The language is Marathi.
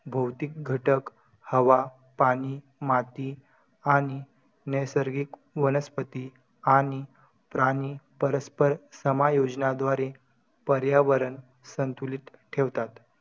फक्त खायचं, झोपायचं आणि पडायचं बस.